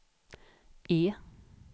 E